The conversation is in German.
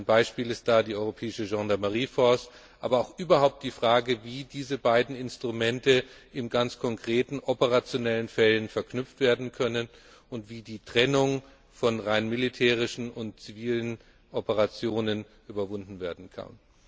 Ein Beispiel dafür ist die europäische Gendarmerietruppe, aber auch überhaupt die Frage, wie diese beiden Instrumente in ganz konkreten operationellen Fällen verknüpft werden können und wie die Trennung von rein militärischen und zivilen Operationen überwunden werden kann.